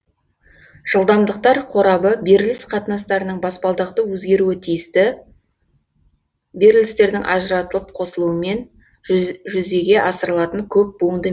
жылдамдықтар қорабы беріліс қатынастарының баспалдақты өзгеруі тиісті берілістердің ажыратылып қосылуымен жүзеге асырылатын көп буынды